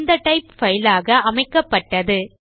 இந்த type file ஆக அமைக்கப்பட்டது